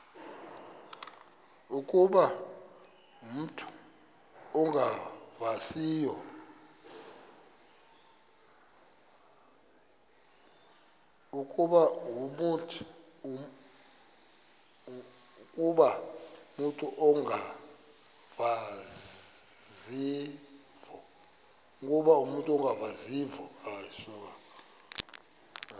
ukuba umut ongawazivo